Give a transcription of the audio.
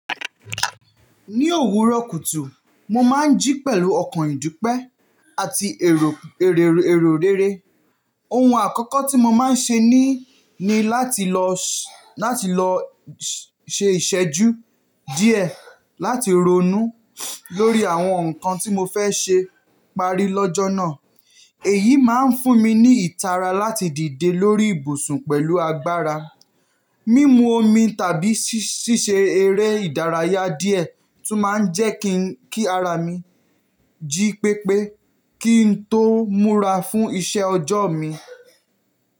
Ní òwúrọ̀ kùtù, mo máa ń jí pẹ̀lú ọkàn ìdúpẹ́ àti èrò, èrò, èrò rere. Ohun àkọ́kọ́ tí mo máa ń ṣe ni, ni láti lọ, láti lọ ṣe ìṣẹ́jú díẹ̀, láti ronú lórí àwọn nǹkan tí mo fẹ́ ṣe pari lọ́jọ́ náà. Èyí máa ń fún mi ní ìtara láti dìde lórí ibùsùn pẹ̀lú agbára. Mímu omi tàbí ṣíṣe eré ìdárayá díẹ̀ tún máa ń jẹ́ kí, kí ara mi jí pépé kí n tó múra fún iṣẹ́ ọjọ́ mi.